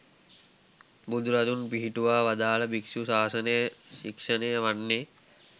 බුදුරදුන් පිහිටුවා වදාළ භික්‍ෂු ශාසනය ශික්‍ෂණය වන්නේ